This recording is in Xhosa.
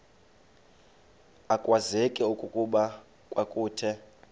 akwazeki okokuba kwakuthe